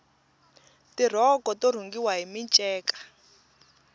tirhoko to rhungiwa hi minceka